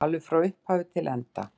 Alveg frá upphafi til enda?